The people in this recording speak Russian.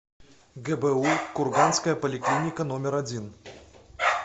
гбу курганская поликлиника номер один